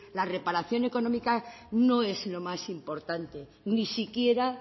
la reparación económica no es lo más importante ni siquiera